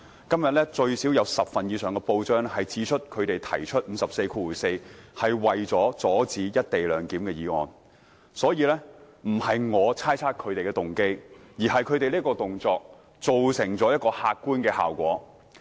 今天最少有10份以上的報章指出，他們提出第544條是為了阻止"一地兩檢"的議案，所以，不是我猜測他們的動機，而是他們這個動作造成一個客觀效果。